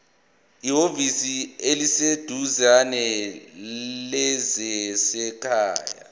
ehhovisi eliseduzane lezasekhaya